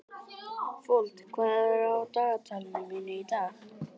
Fold, hvað er á dagatalinu mínu í dag?